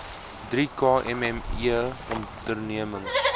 drie kmme ondernemings